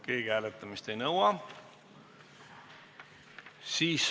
Keegi hääletamist ei nõua.